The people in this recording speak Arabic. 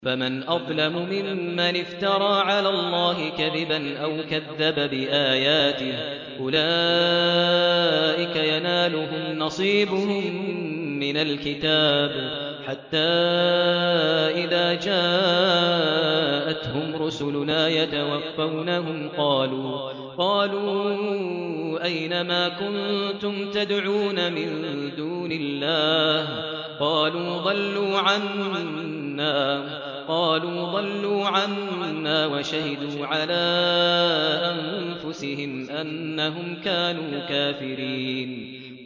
فَمَنْ أَظْلَمُ مِمَّنِ افْتَرَىٰ عَلَى اللَّهِ كَذِبًا أَوْ كَذَّبَ بِآيَاتِهِ ۚ أُولَٰئِكَ يَنَالُهُمْ نَصِيبُهُم مِّنَ الْكِتَابِ ۖ حَتَّىٰ إِذَا جَاءَتْهُمْ رُسُلُنَا يَتَوَفَّوْنَهُمْ قَالُوا أَيْنَ مَا كُنتُمْ تَدْعُونَ مِن دُونِ اللَّهِ ۖ قَالُوا ضَلُّوا عَنَّا وَشَهِدُوا عَلَىٰ أَنفُسِهِمْ أَنَّهُمْ كَانُوا كَافِرِينَ